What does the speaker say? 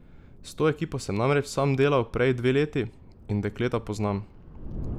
S to ekipo sem namreč sam delal prej dve leti in dekleta poznam.